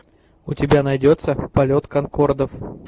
у тебя найдется полет конкордов